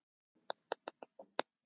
Heimurinn var minn.